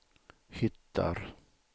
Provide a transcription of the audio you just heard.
hittar